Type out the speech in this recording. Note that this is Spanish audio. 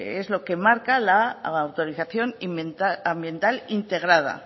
es lo que marca la autorización ambiental integrada